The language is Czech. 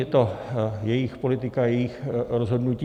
Je to jejich politika, jejich rozhodnutí.